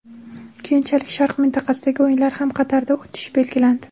Keyinchalik sharq mintaqasidagi o‘yinlar ham Qatarda o‘tishi belgilandi.